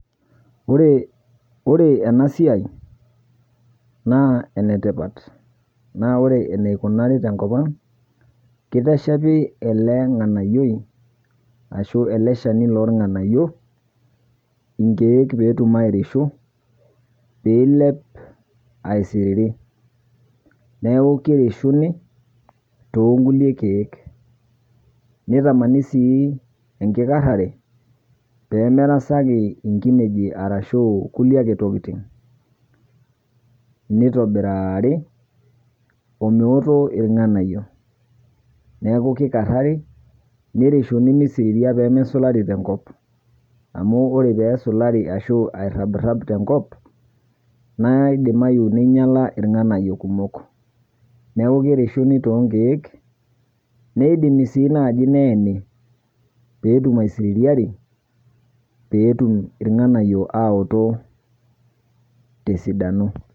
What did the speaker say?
Ore ena siai naa enetipat naa ore enikonari tenkop ang' kiteshepi ele shani lorng'anayio ashu ele ng'anayioi inkeek pee etumoki airishu niilep aisiriri, neeku kirishuni toonkulie keek nitamani sii enkikarrare pee merasaki nkinejik arashu kulie tokitin nitobirari omeoto irng'anayio, neeku kikarrari nirishuni misiriria pee mesulari tenkop amu ore pee esulari ashu arrabirrap tenkop naa idimayu ninyiala irng'anayio kumok neeku kirishuni toonkeek nidimi sii naaji neeni pee etum aisiririari pee etum irng'anayio aoto tesidano.